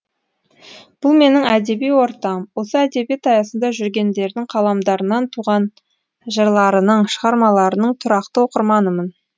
бұл менің әдеби ортам осы әдебиет аясында жүргендердің қаламдарынан туған жырларының шығармаларының тұрақты оқырманымын